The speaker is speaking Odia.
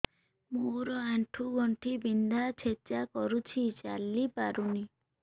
ମୋର ଆଣ୍ଠୁ ଗଣ୍ଠି ବିନ୍ଧା ଛେଚା କରୁଛି ଚାଲି ପାରୁନି